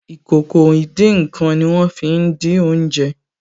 Ìkòkò ìdín-nǹkan ní wọ́n fí n dín oúnjẹ